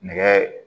Nɛgɛ